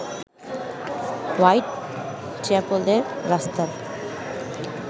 white চ্যাপেলের রাস্তার